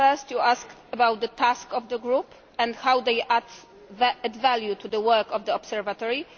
First you asked about the tasks of the group and how they add value to the work of the Observatory.